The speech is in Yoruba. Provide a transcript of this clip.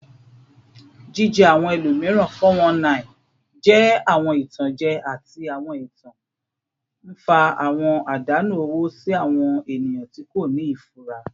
Jije awọn ẹlomiran (419) jẹ awọn itanjẹ ati awọn ẹtan, nfa awọn adanu owo si awọn eniyan ti ko ni ifura.